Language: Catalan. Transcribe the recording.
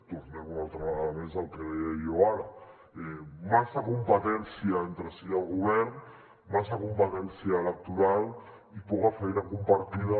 tornem una altra vegada més al que deia jo ara massa competència entre si al govern massa competència electoral i poca feina compartida